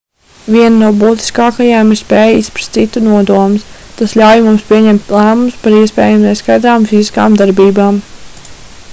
viena no būtiskākajām ir spēja izprast citu nodomus tas ļauj mums pieņemt lēmumus par iespējami neskaidrām fiziskām darbībām